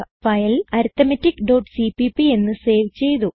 file arithmeticസിപിപി എന്ന് save ചെയ്തു